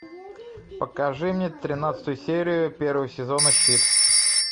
покажи мне тринадцатую серию первого сезона щит